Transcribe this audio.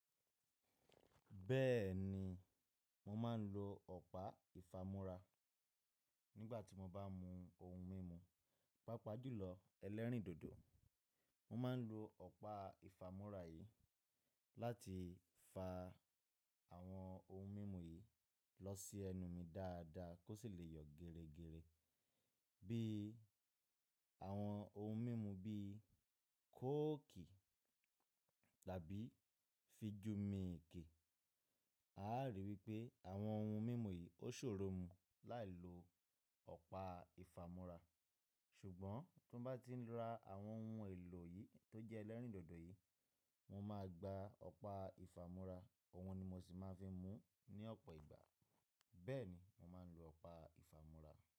Bẹ́ẹ̀ni, mo ma ń lo ọ̀pá ìfamúra nígbà tí mo bá ń mu ohun mímu, pàpá jùlọ ẹlẹ́rìndòdò. Mo máa ń lo ọ̀pá ìfamúra yìí láti fa àwọn ohun mímu yìí lọ sí ẹnu mi dáadáa kó sì lè yọ gèrégèré. Bí i àwọn ohun mímu bí i kokiì tàbí fijumìki. A á rí pé àwọn ohun mímu yìí ó ṣòro mú láì lo ọ̀pá ìfamúra. Ṣùgbọ́n bí mo bá ti ń ra àwọn ohun èlò yìí tó jẹ́ ẹlẹ́rìndòdò yìí, mo máa gba ọ̀pá ìfamúra, ọ̀hun ni mo sì máa ń fi mú ní ọ̀pọ̀ ìgbà. Bẹ́ẹ̀ni, mo máa ń lo ọ̀pá ìfamúra.